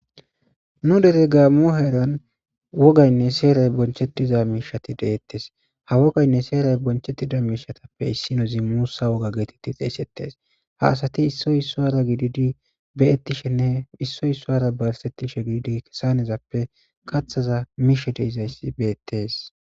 Nu dere ga mo heeran wogaynne seeray bonchettiza miishati deettes ha wogaynne seeray bonchettida miishatappe issinozi muusa woga geetetti xeesettes ha asati issoy issoara gididi beyettishenne issoy issoara barsettishe giidi kesanezappe kathaza miishadizaysi beettes.